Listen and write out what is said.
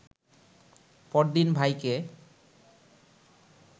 পরদিন ভাইকে